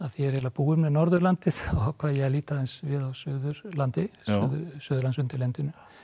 er eiginlega búinn með Norðurlandið þá ákvað ég að líta aðeins við á Suðurlandi Suðurlandsundirlendinu